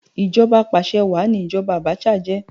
Ìjọba apàsẹ wàá ni ìjoba Abacha jẹ́